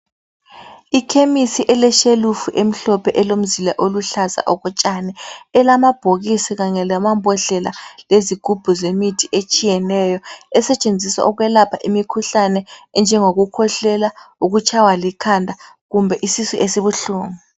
Ikhemisi eleshelufu emhlophe elomzila oluhlaza okotshani. Elamabhokisi kanye lamambodlela lezigubhu zemithi etshiyeneyo esetshenziswa ukwelapha imikhuhlane enjengokukhwehlela, ukutshaywa likhanda kumbe isisu esibuhlungu.